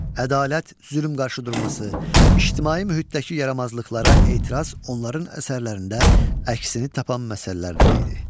Ədalət, zülm qarşıdurması, ictimai mühitdəki yaramazlıqlara etiraz onların əsərlərində əksini tapan məsələlərdən idi.